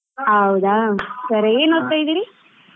ಹೌದಾ? ಸರಿ ಏನ್ ಇದೀರಿ?